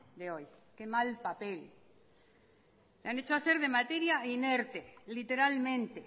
de hoy qué mal papel le han hecho hacer de materia inerte literalmente